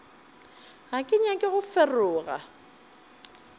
ga ke nyake go feroga